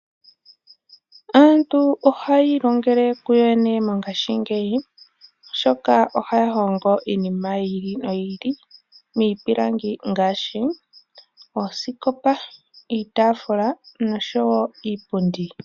Aantu ohaya ilongele kuyo yene mongaashingeyi oshoka ohaya hongo iinima yili noyili miipilangi ngaashi osikopa, iitaafula, nosho woo iipundi.